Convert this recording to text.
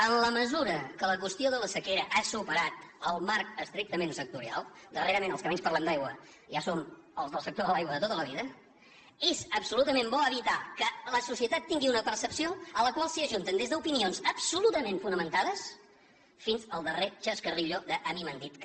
en la mesura que la qüestió de la sequera ha superat el marc estrictament sectorial darrerament els que menys parlem d’aigua ja som els del sector de l’aigua de tota la vida és absolutament bo evitar que la societat tingui una percepció a la qual s’ajunten des d’opinions absolutament fonamentades fins al darrer chascarrillo d’ a mi m’han dit que